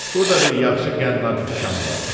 Burda bir yaxşı qənnadı dükanı var.